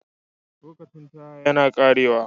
Lokacin Taya yana ƙarewa.